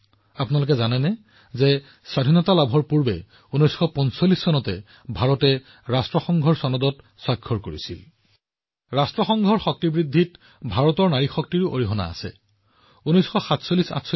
আপুনি জানেনে যে ভাৰতে ১৯৪৫ চনত স্বাধীনতাৰ আগতে ৰাষ্ট্ৰসংঘৰ চাৰ্টাৰত স্বাক্ষৰ কৰিছিল ৰাষ্ট্ৰসংঘৰ এটা অনন্য দিশ হল ভাৰতৰ নাৰী শক্তিয়ে ৰাষ্ট্ৰসংঘৰ প্ৰভাৱ আৰু শক্তি বৃদ্ধিত মুখ্য ভূমিকা পালন কৰিছে